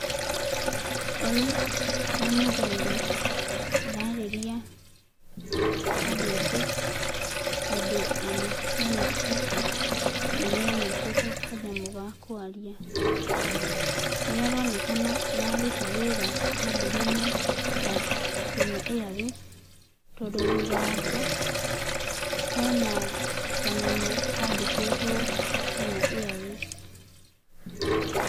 Ũyũ nĩ mũthuri ũrarĩria andũ aingĩ tondũ ona hena speaker na nĩ anyitĩte kanyamũ ga kwaria. Nĩ aronekana araruta wĩra kabuni-inĩ ya Kenya Airways tondũ thutha wake hena kanyamũ kandĩkwtwo Kenya Airways.